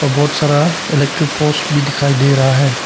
बहुत सारा electric poles भी दिखाई दे रहा है।